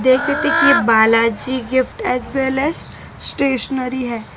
नीचे देखिए Balaji gift as well as stationery है।